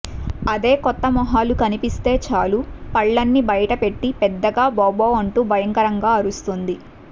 అదే కొత్త మొహాలు కనిపిస్తే చాలు పళ్లన్నీ బయటపెట్టి పెద్దగా భౌభౌ అంటూ భయంకరంగా అరుస్తుంది